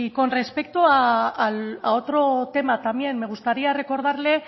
con respecto a otro tema también me gustaría recordarle